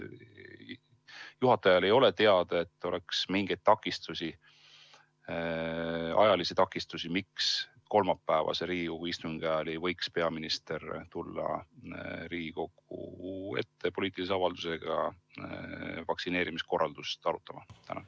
Kas juhatajal ei ole teada, et oleks mingeid takistusi, näiteks ajalisi, miks ei võiks peaminister kolmapäevase Riigikogu istungi ajal tulla Riigikogu ette poliitilise avaldusega vaktsineerimiskorraldust arutama?